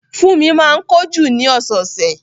Fúnmi máa ń ko jú ni ọ̀sọ̀ọ̀sẹ̀